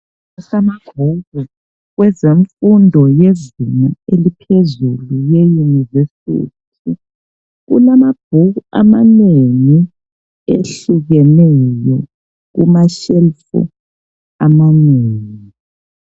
Amabhuku, kwezemfundo yezinga eliphezulu yeyunivesithi. Kulamabhuku amanengi ehlukeneyo kumashelufu amanengi